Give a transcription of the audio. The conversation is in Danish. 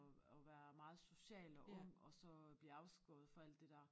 Og og være meget social og ung og så blive afskåret fra alt det der